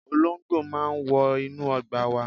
Olóńgbò máa ń wọ inú ọgbà wa.